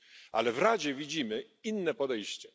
Ale w Radzie widzimy inne podejście.